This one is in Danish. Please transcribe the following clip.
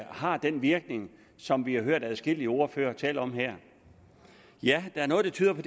har den virkning som vi har hørt adskillige ordførere tale om her ja der er noget der tyder på